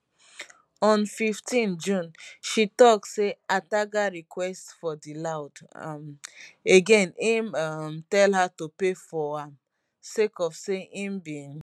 on 15 june she tok say ataga request for di loud um again im um tell her to pay for am sake of say im bin